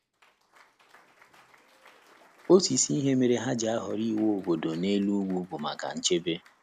Otu isi ihe mere ha ji ahọrọ iwu obodo n’elu ugwu bụ maka nchebe.